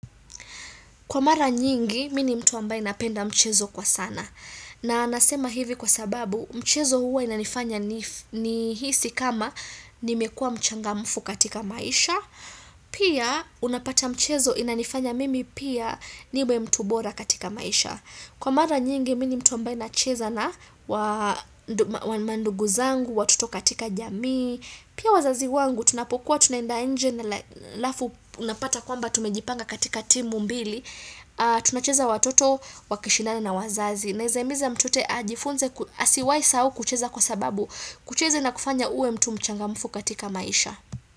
Kwa mara nyingi, mi ni mtu ambaye napenda mchezo kwa sana. Na nasema hivi kwa sababu, mchezo huwa inanifanya ni hisi kama nimekua mchangamfu katika maisha. Pia, unapata mchezo inanifanya mimi pia niwe mtu bora katika maisha. Kwa mara nyingi, mi ni mtu ambaye nachezana wa mandugu zangu, watoto katika jamii. Pia wazazi wangu, tunapokuwa, tunaenda inje alafu unapata kwamba tumejipanga katika timu mbili. Tunacheza watoto, wakishindana na wazazi Naezahimiza mtote ajifunze asiwai sahau kucheza kwa sababu kucheza ina kufanya uwe mtu mchangamufu katika maisha.